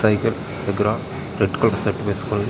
విగ్రహము red colour shirt వేసుకొని--